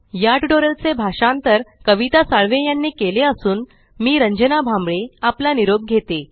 याट्यूटोरियल चे भाषांतर कविता साळवे यानी केले असून मी रंजना भांबळे आपला निरोप घेते